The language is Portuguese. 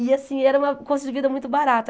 E assim, era uma custo de vida muito barata.